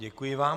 Děkuji vám.